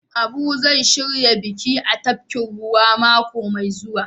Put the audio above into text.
Abu zai shirya biki a tafkin ruwa mako Mai zuwa.